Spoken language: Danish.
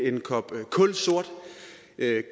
er det